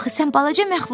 Axı sən balaca məxluqsan.